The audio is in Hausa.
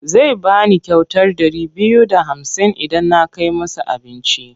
Zai ba ni kyautar ɗari biyu da hamsin idan na kai masa abinci.